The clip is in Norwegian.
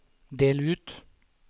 del ut